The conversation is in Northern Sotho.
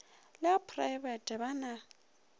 le a phoraebete ba na